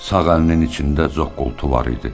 Sağ əlinin içində zoqqultu var idi.